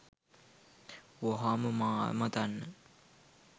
වහාම මා අමතන්න